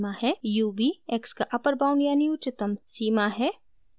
ub x का upper bound यानी उच्चतम सीमा है